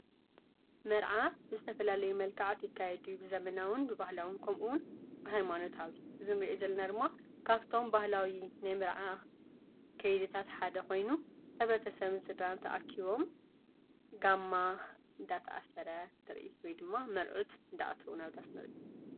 መራዓ ብዝተፋላለየ መልከዓት ይካየድ እዩ። ብዘመናዊን ብባህላዉን ከምኡ እዉን ብሃይማኖታዊ እዚ እንርእዮም ዘለና ካፍቶም ባህላዊ ናይ መርዓ ከይድታት ሓደ ኾይኑ ሕብረተሰብን ስድራን ተኣኪቦም ጋማ እንዳታሰረ ዘርእይ ወይ ድማ መርዑት እንዳኣተዉ ናብ ዳስ ንርኢ፡፡